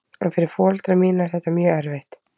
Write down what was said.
En fyrir foreldra mína er þetta mjög erfitt.